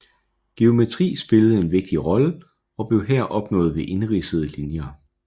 Geometri spillede en vigtig rolle og blev her opnået ved indridsede linjer